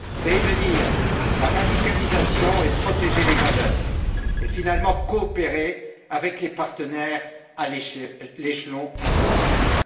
prévenir la radicalisation, protéger les valeurs et, finalement, coopérer avec les partenaires à l'échelon international.